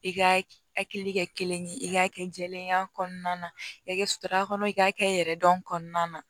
I ka hakili kɛ kelen ye i k'a kɛ jɛlenya kɔnɔna na i ka kɛta kɔnɔ i k'a kɛ yɛrɛ dɔn kɔnɔna na